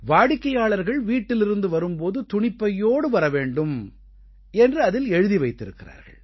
வாடிக்கையாளர்கள் வீட்டிலிருந்து வரும் போது துணிப்பையோடு வரவேண்டும் என்று அதில் எழுதி வைத்திருக்கிறார்கள்